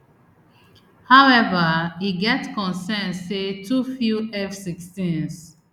however e get concerns say too few fsixteens